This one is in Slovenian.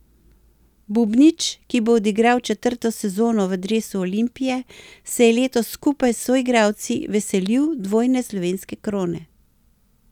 Bubnić, ki bo odigral četrto sezono v dresu Olimpije, se je letos skupaj s soigralci veselil dvojne slovenske krone.